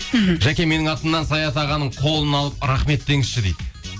мхм жаке менің атымнан саят ағаның қолын алып рахмет деңізші дейді